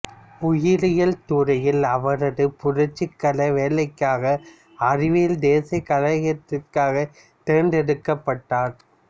உயிரியல் துறையில் அவரது புரட்சிகர வேலைக்காக அறிவியல் தேசிய கழகத்திற்காக தேர்ந்தெடுக்கப்பட்டார்